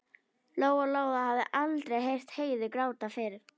Lóa Lóa hafði aldrei heyrt Heiðu gráta fyrr.